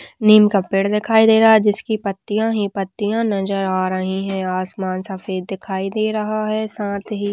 नीम का पेड़ दिखाई दे रहा जिसकी पत्तियाँ ही पत्तियाँ नजर आ रही हैं आसमान सफेद दिखाई दे रहा है साथ ही --